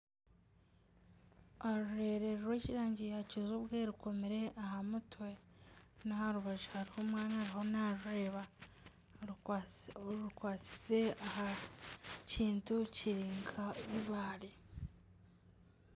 Orureere rw'erangi ya kijubwe rukomire aha mutwe n'aharubaju hariho omwana ariho narureba rukwatsize aha kintu kirinka eibare.